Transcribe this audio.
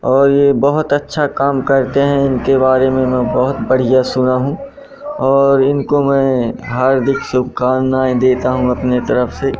और ये बहोत अच्छा काम करते हैं इनके बारे में मैं बहोत बढ़िया सुना हूं और इनको मैं हार्दिक शुभकामनाएं देता हूं अपने तरफ से--